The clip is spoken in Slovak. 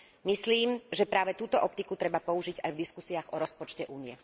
Myslím, že práve túto optiku treba použiť aj v diskusiách o rozpočte Únie.